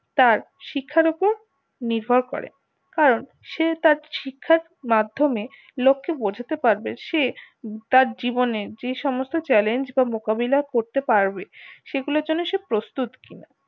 তার শিক্ষার উপর নির্ভর করে আর সে তার শিক্ষার মাধ্যমে লোক কে বোঝাতে পারবে সে তার জীবনে যে সমস্ত challenge বা মোকাবিলা করতে পারবে সেগুলোর জন্য সে প্রস্তুত কিনা